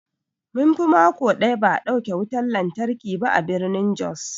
Munfi mako ɗaya ba'a dauke wutan lantarki ba a birnin jos.